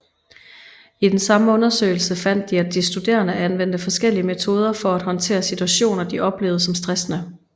I den samme undersøgelse fandt de at de studerende anvendte forskellige metoder for at håndtere situationer de oplevede som stressende